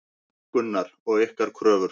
Gunnar: Og ykkar kröfur?